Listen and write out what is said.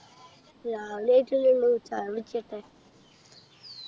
രാവിലെ ആയിട്ടല്ലേ ഉള്ളു ചായ കുടിക്കട്ടെ